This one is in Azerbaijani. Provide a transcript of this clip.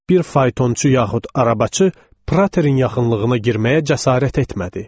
Bir faytonçu yaxud arabaçı Praterin yaxınlığına girməyə cəsarət etmədi.